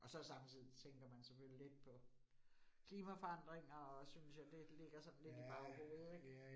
Og så samtidig tænker man selvfølgelig på klimaforandringer og synes jeg, det ligger sådan lidt i baghovedet ik